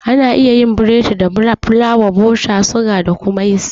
Ana yin biredi da fulawa, bota, suga da kuma yist